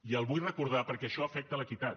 i ho vull recordar perquè això afecta l’equitat